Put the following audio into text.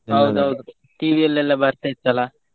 ಹೌದೌದು TV ಅಲ್ಲಿ ಎಲ್ಲಾ ಬರ್ತಾ ಇತ್ತು ಅಲ್ಲಾ?